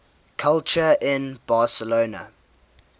culture in barcelona